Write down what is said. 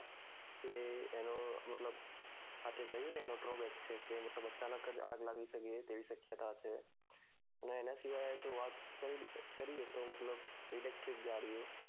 કે એનો મતલબ આ તે એ કહ્યું ને એનો છે તે મતલબ અચાનક આગ લાગી શકે તેવી શક્યતા છે અને એના શીવાય વાત કરીએ તો મતલબ electric ગાડીઓ